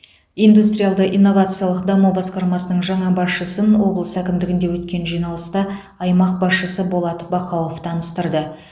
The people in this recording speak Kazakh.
индустриалды инновациялық даму басқармасының жаңа басшысын облыс әкімдігінде өткен жиналыста аймақ басшысы болат бақауов таныстырды